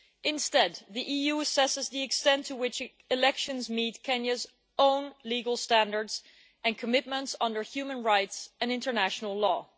Instead, the EU assesses the extent to which elections meet Kenya's own legal standards and commitments under human rights and international law.